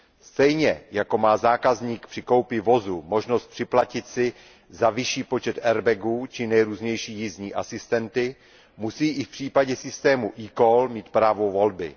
Stejně jako má zákazník při koupi vozu možnost připlatit si za vyšší počet airbagů či nejrůznější jízdní asistenty, musí i v případě systému eCall mít právo volby.